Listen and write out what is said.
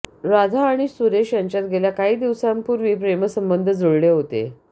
राधा आणि सुरेश यांच्यात गेल्या काही दिवसांपूर्वी प्रेमसंबंध जुळले होते